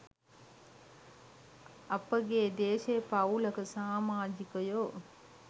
අප ගේ දේශීය පවූලක සාමාජිකයෝ